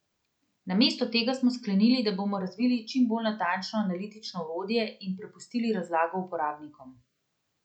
Namesto tega smo sklenili, da bomo razvili čim bolj natančno analitično orodje in prepustili razlago uporabnikom.